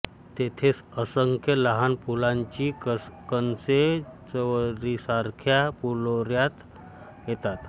तेथेच असंख्य लहान फुलांची कणसे चवरीसारख्या फुलोऱ्यात येतात